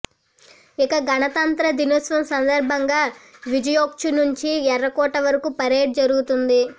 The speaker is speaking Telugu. ఇక గణతంత్ర దినోత్సవం సందర్భంగా విజయ్చౌక్ నుంచి ఎర్రకోట వరకు పరేడ్ జరిగింది